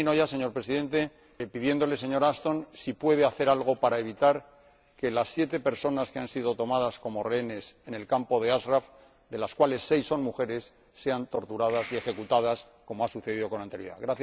Termino ya, señor Presidente, preguntándole, señora Ashton, si puede hacer algo para evitar que las siete personas que han sido tomadas como rehenes en el campo de Ashraf, de las cuales seis son mujeres, sean torturadas y ejecutadas, como ha sucedido con anterioridad.